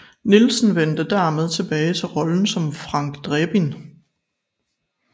Nielsen vendte dermed tilbage til rollen som Frank Drebin